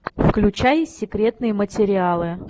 включай секретные материалы